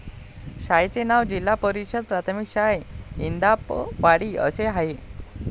शाळेचे नाव जिल्हा परिषद प्राथमिक शाळा इंदापवाडी असे आहे.